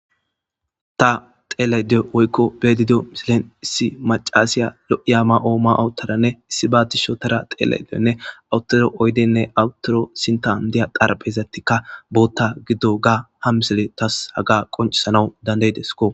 ta xeele diyo oykko bedidio misilen issi macaasiya lo7iya ma7oo ma awuttaranne issi baatisho tara teele deonne awuttoro oydenne awttoro sintan diya qarbezattikka bootta giddo ga ha misele tas haga qoncisana dandayidesko